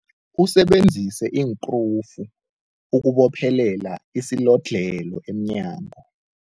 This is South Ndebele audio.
Usebenzise iinkrufu ukubophelela isilodlhelo emnyango.